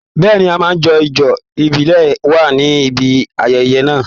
Bẹ́ẹ̀ni, a máa jó ijó ìbílẹ̀ wa ní ibi ayẹyẹ náà.